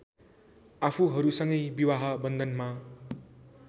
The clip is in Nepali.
आफूहरूसँगै विवाह वन्धनमा